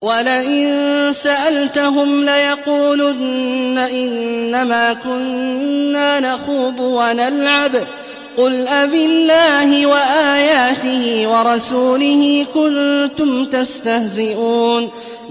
وَلَئِن سَأَلْتَهُمْ لَيَقُولُنَّ إِنَّمَا كُنَّا نَخُوضُ وَنَلْعَبُ ۚ قُلْ أَبِاللَّهِ وَآيَاتِهِ وَرَسُولِهِ كُنتُمْ تَسْتَهْزِئُونَ